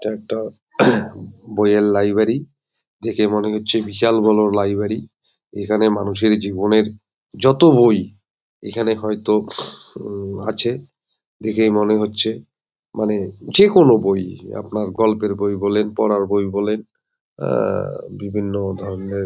এটা একটা বই এর লাইব্রেরি দেখে মনে হচ্ছে বিশাল বড় লাইব্রেরি এখানে মানুষের জীবনের যত বই এখানে হয়ত উম আছে দেখে মনে হচ্ছে মানে যে কোনো বই আপনার গল্পের বই বলেন পড়ার বই বলেন আহ বিভিন্ন ধরনের ।